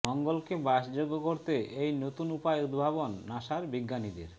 মঙ্গলকে বাসযোগ্য করতে এই নতুন উপায় উদ্ভাবন নাসার বিজ্ঞানীদের